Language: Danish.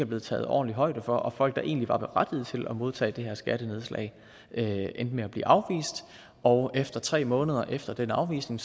blevet taget ordentlig højde for og folk der egentlig var berettiget til at modtage det her skattenedslag endte med at blive afvist og tre måneder efter den afvisning